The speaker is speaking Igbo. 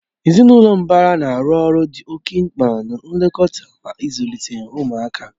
Ezinụlọ mbara na-arụ ọrụ dị oke mkpa na nlekọta mà ịzụlite ụmụaka